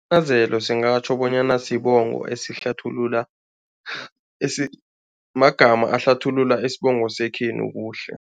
singatjho bonyana sibongo esihlathulula magama ahlathulula isibongo sekhenu kuhle.